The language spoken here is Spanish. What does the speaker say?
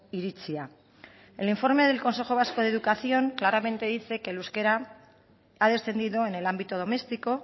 iritzia el informe del consejo vasco de educación claramente dice que el euskera ha descendido en el ámbito doméstico